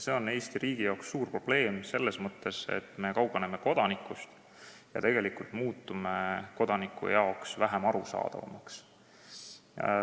See on Eesti riigis suur probleem selles mõttes, et me kaugeneme kodanikust ja muutume kodanikule vähem arusaadavaks.